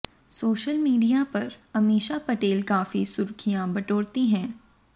social media पर अमीषा पटेल काफी सुर्खियां बटोरती हैं